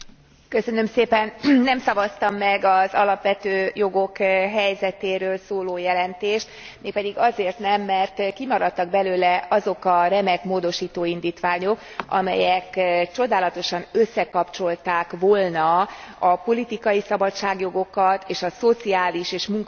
Nem szavaztam meg az alapvető jogok helyzetéről szóló jelentést, mégpedig azért nem, mert kimaradtak belőle azok a remek módosító indítványok, amelyek csodálatosan összekapcsolták volna a politikai szabadságjogokat és a szociális és munkavállalói jogokat.